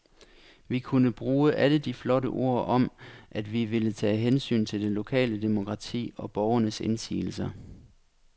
Vi kunne bruge alle de flotte ord om, at vi ville tage hensyn til det lokale demokrati og borgernes indsigelser.